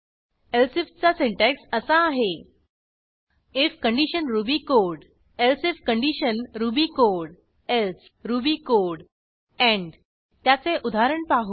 elsifचा syntax असा आहे IF condition Ruby code elsif condition Ruby code else Ruby code end त्याचे उदाहरण पाहू